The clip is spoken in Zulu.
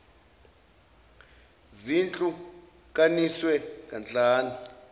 zihlu kaniswe kahlanu